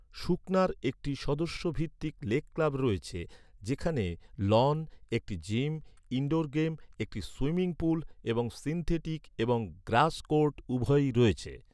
সুখনার একটি সদস্য ভিত্তিক লেক ক্লাব রয়েছে যেখানে লন, একটি জিম, ইনডোর গেম, একটি সুইমিং পুল এবং সিনথেটিক এবং গ্রাস কোর্ট উভয়ই রয়েছে।